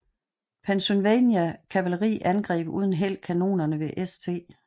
Pennsylvania kavaleri angreb uden held kanonerne ved St